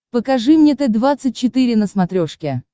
покажи мне т двадцать четыре на смотрешке